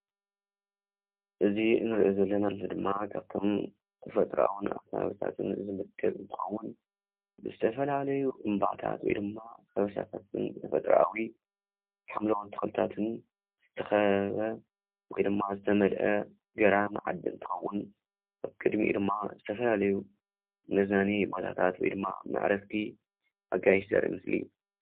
እዚ እንሪኦ ዘለና ምስሊ ድማ ካብቶም ተፈጥራዊን አካባቢያዊን ዝምደብ እንትኸውን፤ ንዝተፈላለዩ እምባታት ወይ ድማ ከበሳታት ተፈጥራዊ ሓምላዊ ተክልታትን ዝተከበበ ወይ ድማ ዝተመልአ ገራሚ ዓዲ እንትኸውን፤ ቅድሚኡ ድማ ዝተፈላለዩ መዝናነይ ቦታታት ወይ ድማ መዕረፍቲ አጋይሽ ዘርኢ ምስሊ እዩ፡፡